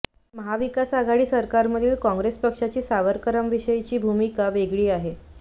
महाविकास आघाडी सरकारमधील काँग्रेस पक्षाची सावरकरांविषयीची भूमिका वेगळी आहे